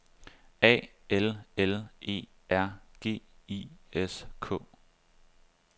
A L L E R G I S K